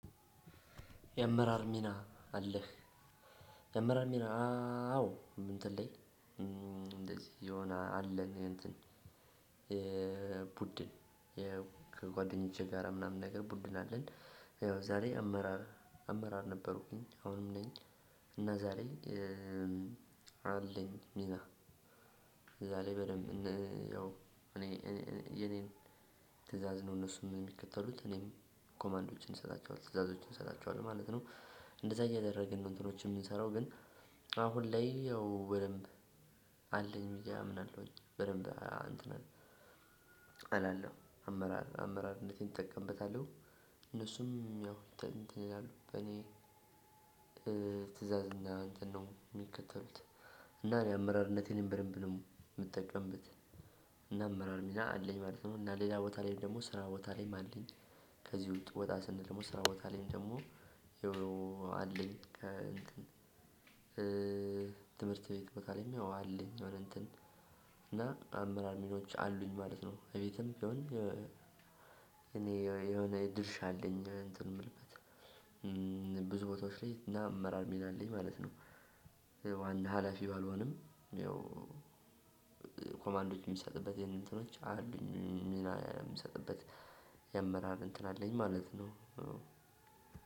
የአመራር ሚና አለህ የአመራር ሚና አዎ እንትን ላይ እንደዚህ የሆነ አለኝ የእንትን የቡድን ከጓደኞቼ ጋራ ምናምን ነገር ቡድን አለን። ያው ዛሬ አመራር አመራር ነበሩብኝ አሁንም ነኝ። እና ዛሬ አለኝ ሚና እዛ ላይ በደንብ ያው እኔ የኔን ትእዛዝ ነው እነሱም የሚከተሉት እኔም ኮማንዶችን እሰጣቸዋለው ትዕዛዞችን እሰጣቸዋለው ማለት ነው። እንደዛ እያደረግን ነው እንትኖች የምንሰራው። ግን አሁን ላይ ያው በደንብ አለኝ ብዬ አምናለሁኝ። በድንብ እንትን እላለሁ አመራር አመራርነቴን እጠቀምበታለሁ። እነሱም ያው እንትን ይላሉ በኔ ትእዛዝ እና እንትን ነው የሚከተሉት። እና እኔ አመራርነቴንም በደንብ ነው የምጠቀምበት። እና አመራር ሚና አለኝ ማለት ነው። እና ሌላ ቦታ ላይ ደግሞ ስራ ቦታ ላይም አለኝ። ከዚህ ውስጥ ወጣ ስንል ደግሞ ስራ ቦታ ላይም ደግሞ ይኸው አለኝ። ትምህርት ቤት ቦታ ላይም ይኸው አለኝ። የሆነ እንትን እና አመራር ሚናዎች አሉኝ ማለት ነው። እቤትም ቢሆን እኔ የሆነ የድርሻ አለኝ እንትን የምልበት። ብዙ ቦታዎች ላይ እና አመራር ሚና አለኝ ማለት ነው። ዋና ሀላፊ ባልሆንም ያው ኮማንዶች የሚሰጥበት የንትኖች አሉኝ ሚና የምሰጥበት የአመራር እንትን አለኝ ማለት ነው።